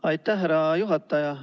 Aitäh, härra juhataja!